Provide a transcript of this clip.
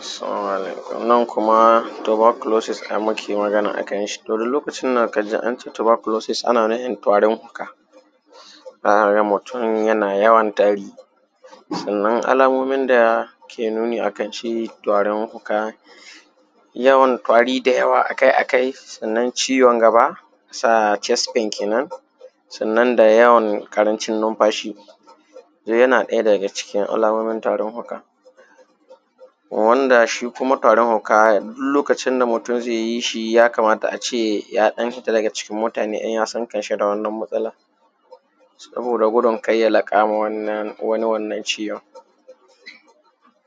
Assalamu alaikum, wannan kuma tuberculoses muke magana a kanshi, to lokacin da ka ji ance tuberculosis ana nufin tarin fuka, za ka ga mutum yana yawan tari. Sannan alamomin da yake nuni akan shi tarin fuka, yawan tari dayawa akai-akai, sannan ciwon gaba chest pain kenan, sannan da yawan ƙarancin numfaashi, yana ɗaya daga cikin alamomin tarin fuka. Wanda shi kuma taarin fuka duk lokacin da mutum zai jii shi yakamata aje a ɗan fita daga cikin mutane in ya san kanshi da wannan matsalar, Saboda gudun kar ya laƙa wa wani wannan shiwon,